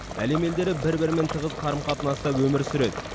әлем елдері бір бірімен тығыз қарым қатынаста өмір сүреді